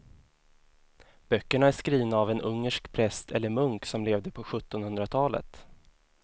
Böckerna är skrivna av en ungersk präst eller munk som levde på sjuttonhundratalet.